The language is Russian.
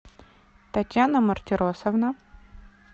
татьяна мартиросовна